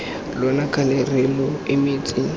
lona kgale re lo emetse